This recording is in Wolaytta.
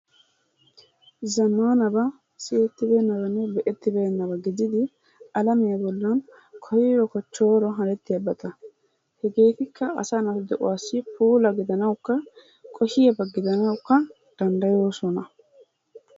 zamaanaba siyettibeenaba be'ettibeenaba gididi alammiya bollan koyro kochooro hannetiyabata hegeetikka asaa na'a de'uwassi puula gidanaawukka koshiyaba gidanawukka danddayoosona.